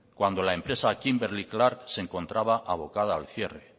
cuando la empresa kimberly clark se encontraba avocada al cierre